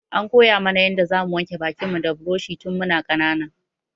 An koya mu na yanda za mu wanke bakin mu da buroshi tun mu na ƙanana